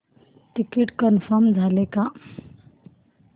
ticket confirm झाले का